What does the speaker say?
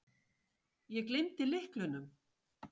Ég gleymdi lyklunum.